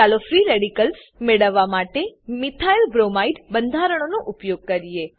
ચાલો free radicals મેળવવા માટે મિથાઇલબ્રોમાઇડ બંધારણનો ઉપયોગ કરીએ